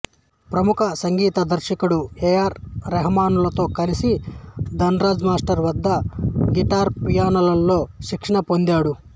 ప్రముఖ సంగీత దర్శకుడు ఏ ఆర్ రెహమాన్తో కలసి ధనరాజ్ మాస్టర్ వద్ద గిటార్ పియానోలలో శిక్షణ పొందాడు